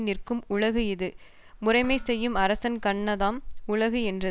நிற்கும் உலகு இது முறைமை செய்யும் அரசன்கண்ணதாம் உலகு என்றது